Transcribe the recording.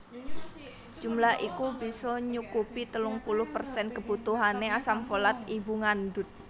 Jumlah iku bisa nyukupi telung puluh persen kebutuhané asam folat ibu ngandut